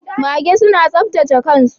Mage suna saptace kan su.